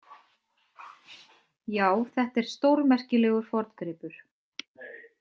Já, þetta er stórmerkilegur forngripur.